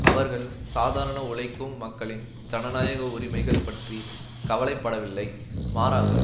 அவர்கள் சாதாரண உழைக்கும் மக்களின் ஜனநாயக உரிமைகள் பற்றி கவலை படவில்லை மாறாக